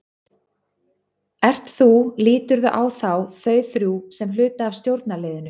Ert þú, líturðu á þá, þau þrjú sem hluta af stjórnarliðinu?